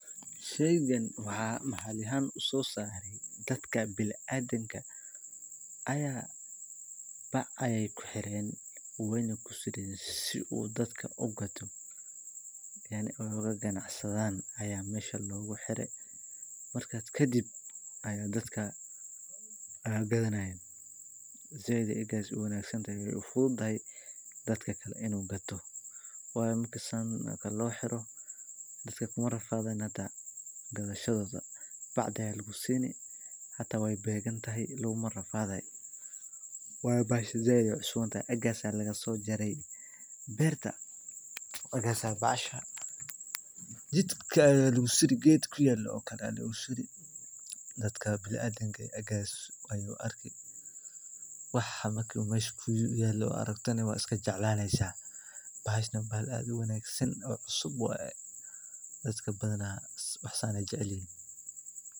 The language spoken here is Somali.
Shaygani waxa maxali ahan usosaray dadka bini adamka aya baa ayay kuxeren wayna kusureen si dadka u gaato oga ganacsadan aya mesha loguxeray markas kadib aya dadkan gadanayan zaid egas uwangsantahay we fududahay dadkala inu gato wayo marki saan lofuro dadka kuma rafadayan hada gadashdeda baada aya lagusuuri xata weybeegan tahay laguma rafadaya wayo bahashaan zaid ay cusubantahay agas aya lagsojaray beerta markas a bahasha jidka aya lagusuri ged guy kuyela okala lasuri dadka bini adamka agas ayu arki waxa mesha kuyala aragtana wa jeclani bahasha wa bahal ad u wanagsan cusub waya dadka badan waxa sa ay jecelyahin.